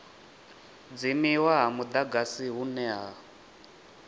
dzimiwa ha mudagasi hune ha